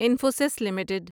Infosys limited